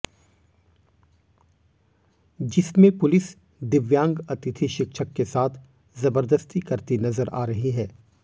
जिसमें पुलिस दिव्यांग अतिथि शिक्षक के साथ जबरदस्ती करती नजर आ रही है